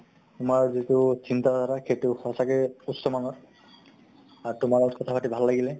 তোমাৰ যিটো চিন্তা ধাৰা, সেইটো সচাঁকে উচ্চ মানৰ আৰু তোমাৰ লগত কথা পাতি ভাল লাগিলে ।